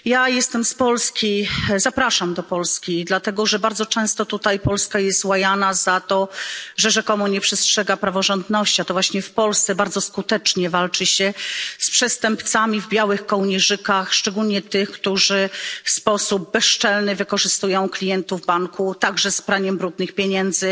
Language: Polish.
Jestem z Polski i zapraszam do Polski dlatego, że bardzo często tutaj Polska jest łajana za to, że rzekomo nie przestrzega praworządności, a to właśnie w Polsce bardzo skutecznie walczy się z przestępcami w białych kołnierzykach, szczególnie z tymi, którzy w sposób bezczelny wykorzystują klientów banku, także z praniem brudnych pieniędzy.